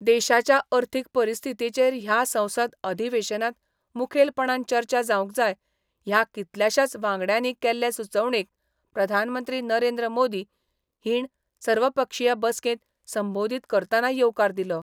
देशाच्या अर्थीक परिस्थितीचेर ह्या संसद अधिवेशनांत मुखेलपणान चर्चा जावंक जाय ह्या कितल्याशाच वांगड्यांनी केल्ले सुचोवणेक प्रधानमंत्री नरेंद्र मोदी हाीण सर्वपक्षीय बसकेंत संबोदीत करतना येवकार दिलो.